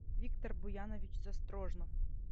виктор буянович застрожнов